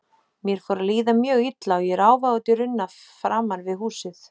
Mér fór að líða mjög illa og ég ráfaði út í runna framan við húsið.